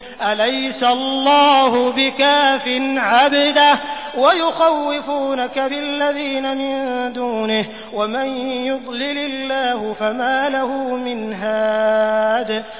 أَلَيْسَ اللَّهُ بِكَافٍ عَبْدَهُ ۖ وَيُخَوِّفُونَكَ بِالَّذِينَ مِن دُونِهِ ۚ وَمَن يُضْلِلِ اللَّهُ فَمَا لَهُ مِنْ هَادٍ